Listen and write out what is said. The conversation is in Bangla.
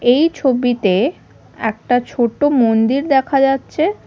এই ছবিতে একটা ছোট মন্দির দেখা যাচ্ছে।